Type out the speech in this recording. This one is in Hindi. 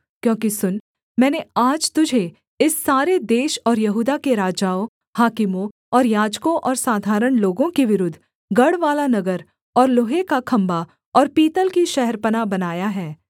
क्योंकि सुन मैंने आज तुझे इस सारे देश और यहूदा के राजाओं हाकिमों और याजकों और साधारण लोगों के विरुद्ध गढ़वाला नगर और लोहे का खम्भा और पीतल की शहरपनाह बनाया है